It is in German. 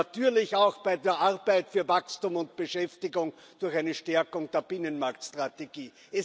natürlich auch bei der Arbeit für Wachstum und Beschäftigung durch eine Stärkung der Binnenmarktstrategie.